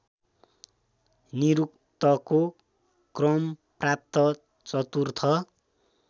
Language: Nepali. निरुक्तको क्रमप्राप्त चतुर्थ